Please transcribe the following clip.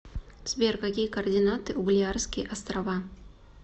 сбер какие координаты у балеарские острова